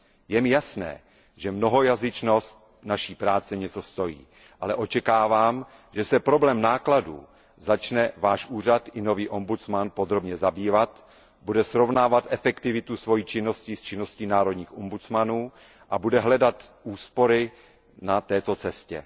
Je mi jasné, že mnohojazyčnost naší práce něco stojí, ale očekávám, že se problémem nákladů začne Váš úřad i nový ombudsman podrobně zabývat, bude srovnávat efektivitu své činnosti s činností národních ombudsmanů a bude hledat úspory na této cestě.